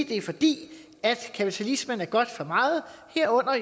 det er fordi kapitalismen er godt for meget herunder